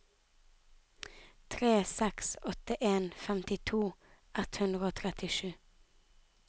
tre seks åtte en femtito ett hundre og trettisju